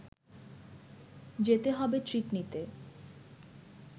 যেতে হবে ট্রিট নিতে